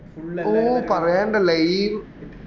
ഓ പറയണ്ടാലെ